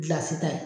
Gilasi ta ye